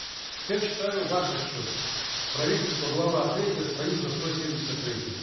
теперь читаю ваш отчет правительства глава третья страница сто семьдесят третья